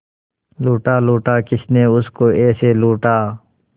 लूटा लूटा किसने उसको ऐसे लूटा